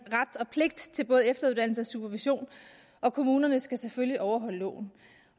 ret og pligt til både efteruddannelse og supervision og kommunerne skal selvfølgelig overholde loven